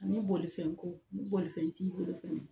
Ani bolifɛnko ni bolifɛn t'i bolo fɛnɛ